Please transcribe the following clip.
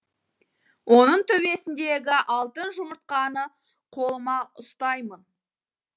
оның төбесіндегі алтын жұмыртқаны қолыма ұстаймын